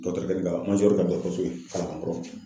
ka ka dɔkɔtɔrɔso kalaban koro.